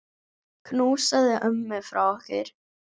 Knúsaðu ömmu frá okkur.